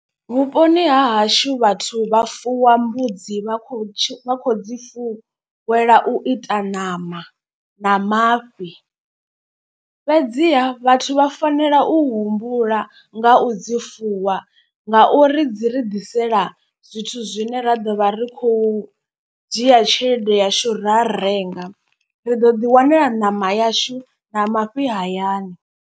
Vhuponi ha hashu vhathu vha fuwa mbudzi vha khou dzi fuwela u ita ṋama na mafhi. Fhedziha vhathu vha fanela u humbula nga u dzi fuwa ngauri dzi ri ḓisela zwithu zwine ra ḓo vha ri khou dzhia tshelede yashu ra renga. Ri ḓo ḓi wanela ṋama yashu na mafhi hayani.